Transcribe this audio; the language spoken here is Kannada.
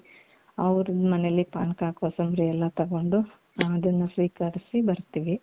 ಅವರು ಮನೇಲಿ ಪಾನಕ ಕೋಸಂಬರಿ ಎಲ್ಲಾ ತಗೊಂಡು ಅದುನ್ನು ಸ್ವೀಕರಿಸಿ ಬರ್ತೀವಿ.